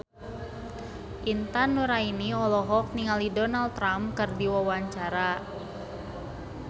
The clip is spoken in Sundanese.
Intan Nuraini olohok ningali Donald Trump keur diwawancara